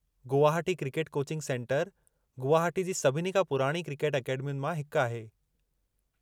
Guwahati cricket coaching centre Guwahati जी सभिनी खां पुराणी क्रिकेट अकेडमियुनि मां हिकु आहे।